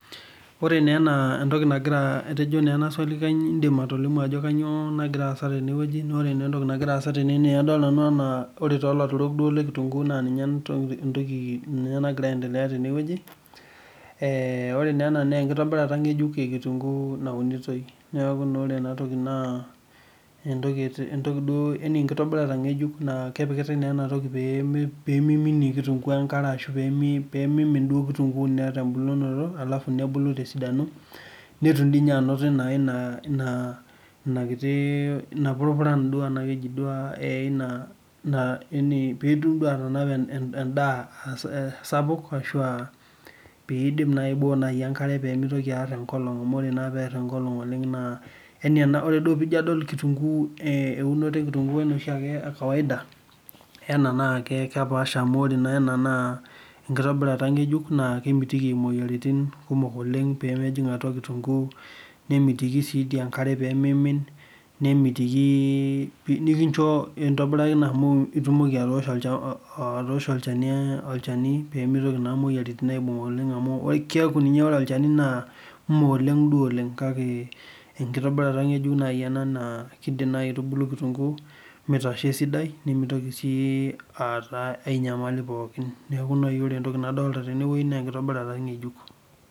Ore ena entoki na etejo na enaswali kanyio indim atolimu ajo kanyio entoki nagira aasa tene na ilatirol lekitunguu na ninche nagira anedelea tene enkitobirata ekitunguu naunitoi na ore enatoki na enkitobirata ngejuk na peminie kitunguu enkare nebulu tesidano netum inakiti ina pitum atanapa emdaa sapuk ashu pmbok enkare peminok enkolong na ore duo pijo adol eunoto ekitunguu ekawaida na kepaasha amu ore ena na ekipaasha ngejuk na kemiti inaduo duo mi unguu nemitiki pii nikincho itobiraa ina amu itumoki atoosho olchani pemitoki aibung moyiaritin neaku ore olchanu nameoleng enkitobirata ena na kitubulu kitunguu esidai neaku ore nai entoki nadolta tene na enkitubulunoto ng ejuk